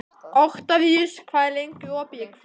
Oktavíus, hvað er lengi opið í Kvikk?